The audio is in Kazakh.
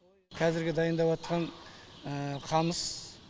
қазіргі дайындапатқан қамыс